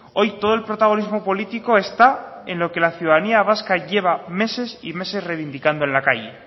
hoy todo el protagonismo político está en lo que la ciudadanía vasca lleva meses y meses reivindicando en la calle